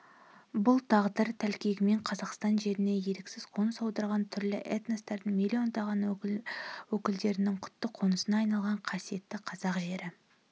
бұл тағдыр тәлкегімен қазақстан жеріне еріксіз қоныс аударған түрлі этностардың миллиондаған өкілдерінің құтты қонысына айналған қасиетті қазақ жері